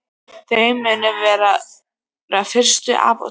Þau munu vera úr fyrsta apóteki á